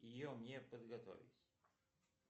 ее мне подготовить